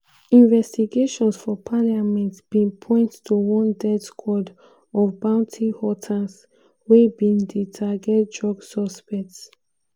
investigations for parliament bin point to one "death squad" of bounty hunters wey bin dey target drug suspects.